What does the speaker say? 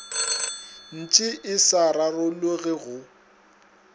ntše e sa rarologe go